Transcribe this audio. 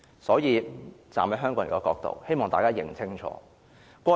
所以，站在香港人的角度，我希望大家看清楚。